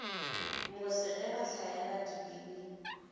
mose ge ba hlaela dibini